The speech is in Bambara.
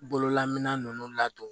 Bololamana ninnu ladon